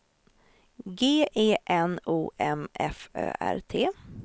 G E N O M F Ö R T